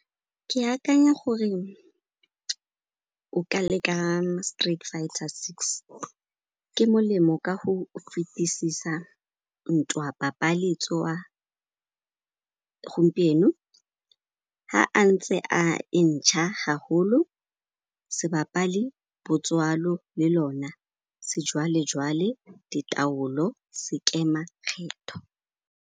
Ke akanya gore o ka leka Street Fighter Six, ke molemo ka go fetisisa ntwa papaletswa gompieno ga a ntse a entšha haholo se bapale botswalo le lona sejwale-jwale, ditaolo, sekema-kgetho.